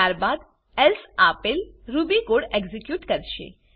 ત્યાબાદ એલ્સે આપેલ Ruby code execute કરશે